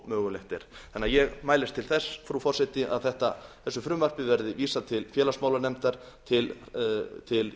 mögulegt er ég mælist því til þess frú forseti að þessu frumvarpi verði vísað til félagsmálanefndar til